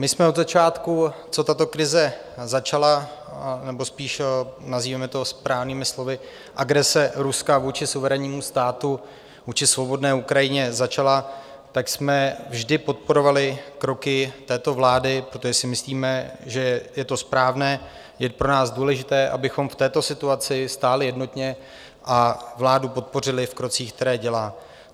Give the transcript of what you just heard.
My jsme od začátku, co tato krize začala, nebo spíš nazývejme to správnými slovy, agrese Ruska vůči suverénnímu státu, vůči svobodné Ukrajině začala, tak jsme vždy podporovali kroky této vlády, protože si myslíme, že je to správné, je pro nás důležité, abychom v této situaci stáli jednotně a vládu podpořili v krocích, které dělá.